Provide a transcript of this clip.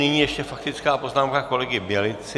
Nyní ještě faktická poznámka kolegy Bělicy.